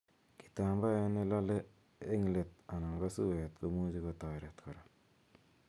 Kitambae ne lale eng let anan ko suet komuchi kotaret kora